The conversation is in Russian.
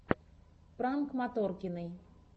пранк моторкиной